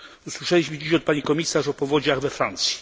Usłyszeliśmy dziś od pani komisarz o powodziach we Francji.